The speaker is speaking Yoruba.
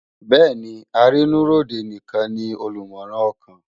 Béèni àrinù ri ódé nikán ni ólùmòrán òkán